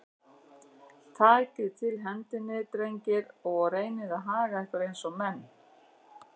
Takið til hendinni, drengir, og reynið að haga ykkur eins og menn.